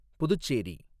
Puducherry